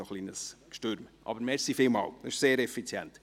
Trotzdem vielen Dank, das war sehr effizient.